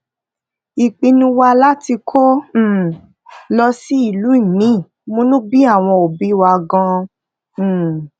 ìpinnu wa láti kó um lọ sí ìlú míì múnú bí àwọn obi wa gan-an um